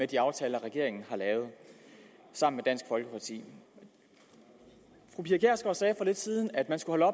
de aftaler regeringen har lavet sammen dansk folkeparti fru pia kjærsgaard sagde for lidt siden at man skulle